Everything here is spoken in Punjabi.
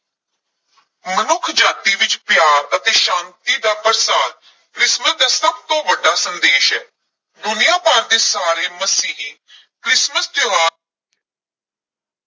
ਮਨੁੱਖਜਾਤੀ ਵਿਚ ਪਿਆਰ ਅਤੇ ਸ਼ਾਂਤੀ ਦਾ ਪ੍ਰਸਾਰ ਕ੍ਰਿਸਮਿਸ ਦਾ ਸਭ ਤੋਂ ਵੱਡਾ ਸੰਦੇਸ਼ ਹੈ, ਦੁਨੀਆਂ ਭਰ ਦੇ ਸਾਰੇ ਮਸੀਹੀ ਕ੍ਰਿਸਮਸ ਤਿਉਹਾਰ